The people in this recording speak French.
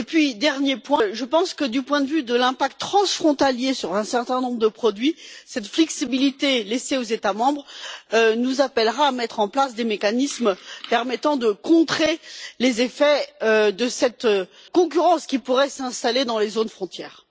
Enfin, je pense que, du point de vue de l'impact transfrontalier sur un certain nombre de produits, cette flexibilité laissée aux États membres nous appellera à mettre en place des mécanismes permettant de contrer les effets de cette concurrence qui pourrait s'installer dans les zones frontières.